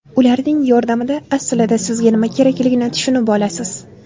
Ularning yordamida aslida sizga nima kerakligini tushunib olasiz.